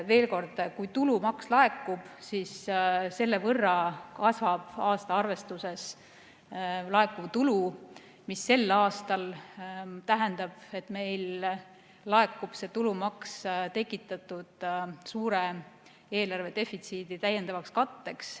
Veel kord: kui tulumaks laekub, siis selle võrra kasvab aasta arvestuses laekuv tulu, mis sel aastal tähendab, et meil laekub see tulumaks tekitatud suure eelarve defitsiidi täiendavaks katteks.